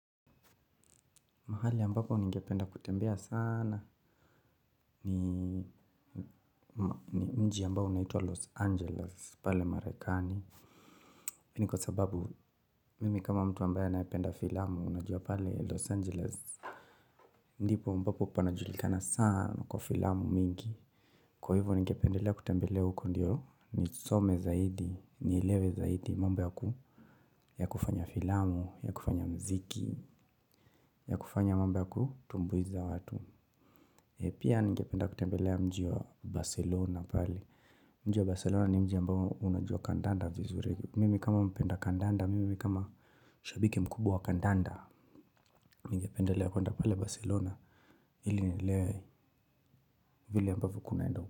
Mahali ambapo ningependa kutembea saana ni mji ambao unaitua Los Angeles pale marekani hii ni kwa sababu mimi kama mtu ambaye anayependa filamu unajua pale Los Angeles. Ndipo ambapo panajulikana saana kwa filamu mingi. Kwa hivyo ningependelea kutembelea huko ndio nisome zaidi, nielewe zaidi mambo yakufanya filamu ya kufanya muziki ya kufanya mambo ya kutumbuiza watu. Pia ningependa kutembelea mji wa Barcelona pale. Mji wa Barcelona ni mji ambao unajua kandanda vizuri. Mimi kama mpenda kandanda, mimi kama shabiki mkubwa wa kandanda ningependelea kwenda pale Barcelona ili nielewe vile ambavyo kunaenda.